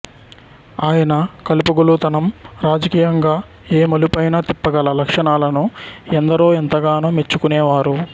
ఆయన కలుపుగోలుతనం రాజకీయంగా ఏ మలుపైనా తిప్పగల లక్షణాలను ఎందరో ఎంతగానో మెచ్చుకునేవారు